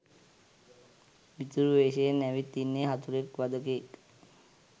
මිතුරු වේශයෙන් ඇවිත් ඉන්නෙ හතුරෙක් වධකයෙක්.